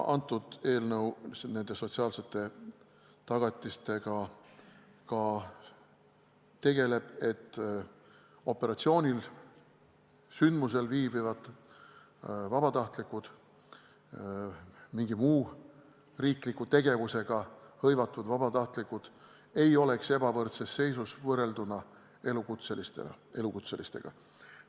Kõnealune eelnõu tegeleb ka nende sotsiaalsete tagatistega, et operatsioonil, sündmusel viibivad või mingi muu riikliku tegevusega hõivatud vabatahtlikud ei oleks ebavõrdses seisus võrreldes elukutselistega.